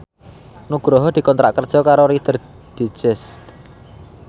Nugroho dikontrak kerja karo Reader Digest